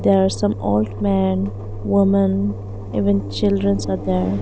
there are some old man woman even childrens are there.